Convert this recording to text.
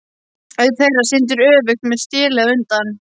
Einn þeirra syndir öfugt, með stélið á undan.